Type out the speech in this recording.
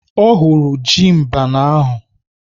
Ọ hụrụ ji mbene ahụ.